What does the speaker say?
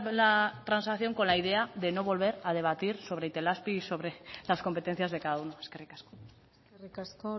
la transacción con la idea de no volver a debatir sobre itelazpi y sobre las competencias de cada uno eskerrik asko eskerrik asko